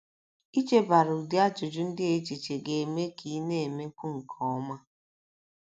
Ichebara ụdị ajụjụ ndị a echiche ga - eme ka ị na - emekwu nke ọma.